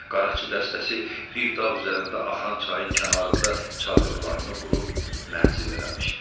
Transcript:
Qaraçı dəstəsi bir dağ üzərində axan çayın kənarında çadırlarını qurub mənzil eləmişdi.